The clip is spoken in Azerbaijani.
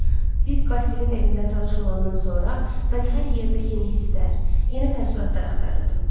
Biz Basilinin evində tanış olandan sonra, mən hər yerdə yeni hisslər, yeni təəssüratlar axtarırdım.